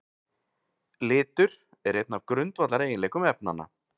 Litur er einn af grundvallareiginleikum efnanna.